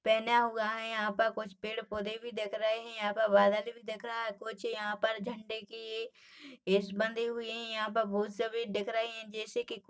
पहेना हुआ है। यहाँ पर कुछ पेड़-पौधे भी दिख रहे है। यहाँ पर गाड़िया भी दिख रही है। कुछ यहाँ पर झंडे कि लैस बंदी हुई है। यहाँ पर भू सभी दिख रही है। जैसे की --